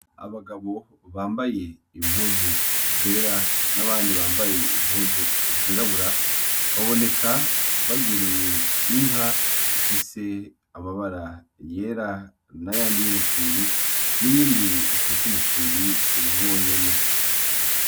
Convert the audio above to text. Abagabo bambaye impuzu zera n'abandi bambaye impuzu zirabura, baboneka begereye inka ifise amabara yera n'ayandi y'umufyiri; n'iyindi ifise umufyiri wonyene.